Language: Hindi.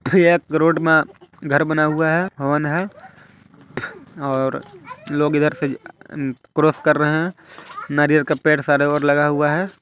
ये एक रोड मा घर बना हुआ है होन है और लोग इधर से क्रॉस कर रहे हैं नारियल का पेड़ सारे ओर लगा हुआ है।